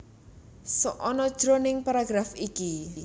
Sok ana jroning paragraf iki